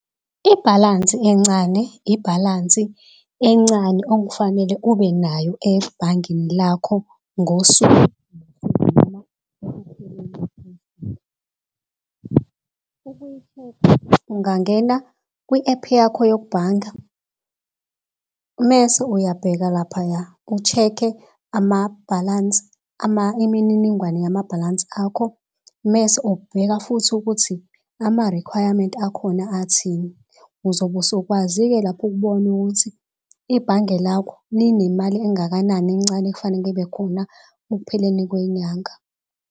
Ibhalansi encane, ibhalansi encane okufanele ubenayo ebhangini lakho ngosuku. Ukuyi-check-a ungangena kwi-app yakho yokubhanga, mese uyabheka laphaya, u-check-e amabhalansi imininingwane yamabhalansi akho. Mese ubheka futhi ukuthi ama-requirement akhona athini, uzobe usukwazi ke lapho ukubona ukuthi ibhange lakho linemali engakanani encane efaneke ibe khona ekupheleni kwenyanga.